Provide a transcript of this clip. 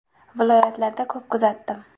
Viloyatlarda ko‘p kuzatdim.